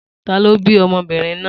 Ta ló bí ọmọbìnrin náà?